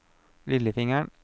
lillefingeren